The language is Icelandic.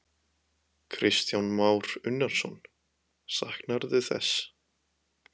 Kristján Már Unnarsson: Saknarðu þess?